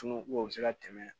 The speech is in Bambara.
Tunu ko o be se ka tɛmɛ